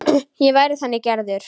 Ég væri þannig gerður.